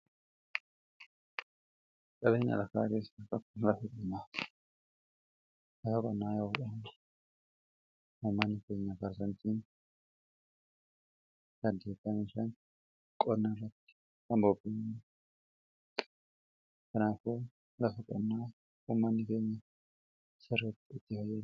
dabeenya lakaa keessa akkan laalafa qonnaa yawuudhaana humaanikeenya baarzanciin daaggeekaanishaan qonnaa ratti abobeena kanaafoo lafa qannaa umaani keenya sarratti itti fayyaa